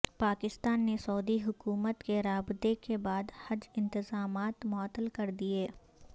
پاکستان نے سعودی حکومت کے رابطے کے بعد حج انتظامات معطل کر دیے